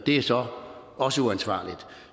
det er så også uansvarligt